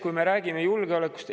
Teiseks räägime julgeolekust.